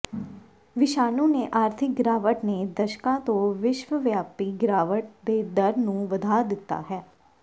ਵਿਸ਼ਾਣੂ ਦੇ ਆਰਥਿਕ ਗਿਰਾਵਟ ਨੇ ਦਸ਼ਕਾਂ ਤੋਂ ਵਿਸ਼ਵਵਿਆਪੀ ਗਿਰਾਵਟ ਦੇ ਡਰ ਨੂੰ ਵਧਾ ਦਿੱਤਾ ਹੈ